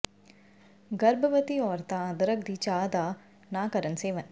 ਗਰਭਵਤੀ ਔਰਤਾਂ ਅਦਰਕ ਦੀ ਚਾਹ ਦਾ ਨਾ ਕਰਨ ਸੇਵਨ